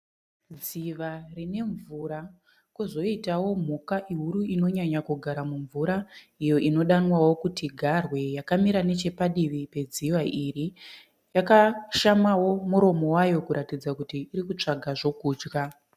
Dziva rine mvura kozoitawo mhuka huru inonyanya kugara mumvura iyo inodanwawo kuti garwe yakamira nechepadivi pedziva iri. Yakashamawo muromo wayo kuratidza kuti iri kutsvaka zvokudya.